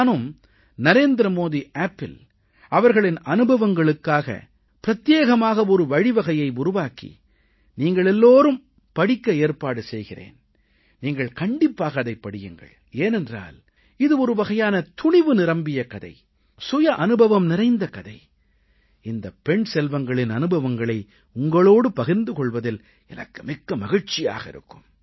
நானும் நரேந்திரமோடி Appஇல் அவர்களின் அனுபவங்களுக்காக பிரத்யேகமாக ஒரு வழிவகையை உருவாக்கி நீங்கள் படிக்க ஏற்பாடு செய்கிறேன் நீங்கள் கண்டிப்பாக அதைப் படியுங்கள் ஏனென்றால் இது ஒருவகையான துணிவு நிரம்பிய கதை சுய அனுபவம் நிறைந்த கதை இந்தப் பெண் செல்வங்களின் அனுபவங்களை உங்களோடு பகிர்ந்து கொள்வதில் எனக்கு மிக்க மகிழ்ச்சியாக இருக்கும்